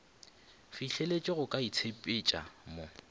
fihleletše go ka itshepetša mo